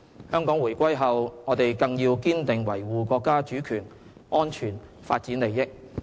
香港回歸後，我們更要堅定維護國家主權、安全、發展利益。